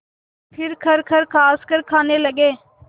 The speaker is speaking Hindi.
फिर खरखर खाँसकर खाने लगे